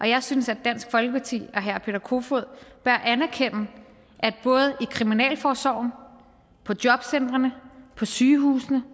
jeg synes at dansk folkeparti og herre peter kofod bør anerkende at både i kriminalforsorgen på jobcentrene på sygehusene